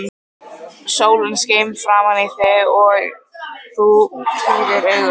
Sólin skein framan í þig og þú pírðir augun.